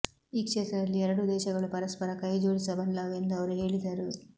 ಈ ಕ್ಷೇತ್ರದಲ್ಲಿ ಎರಡೂ ದೇಶಗಳು ಪರಸ್ಪರ ಕೈಜೋಡಿಸಬಲ್ಲವು ಎಂದು ಅವರು ಹೇಳಿದರು